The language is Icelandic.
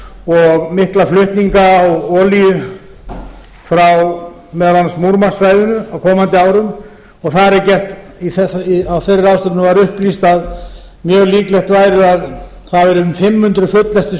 og mikla flutninga á olíu frá meðal annars múrmansksvæðinu á komandi árum þar var upplýst að mjög líklegt væri að um fimm hundruð fulllestuð